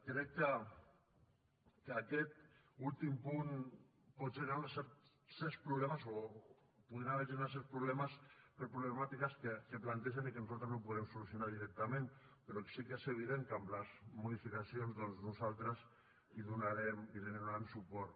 crec que aquest últim punt pot generar certs problemes o podien haver se generat certs problemes per problemàtiques que plantegen i que nosaltres no podem solucionar directament però que sí que és evident que amb les modificacions doncs nosaltres hi donarem suport